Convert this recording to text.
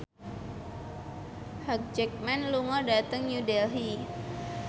Hugh Jackman lunga dhateng New Delhi